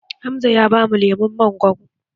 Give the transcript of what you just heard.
Hamza ya bamu lemun mangwaro